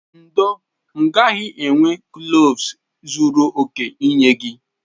Ndo, m gaghị enwe kloves zuru oke inye gi.